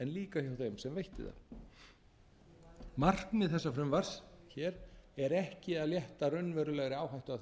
líka hjá þeim sem veitti það markmið þessa frumvarps hér er ekki að létta raunverulegri áhættu af þeim sem